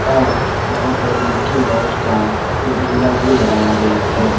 और यहां पर मिक्की माउस का झूला भी लगाया गया है।